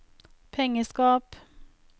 pengeskap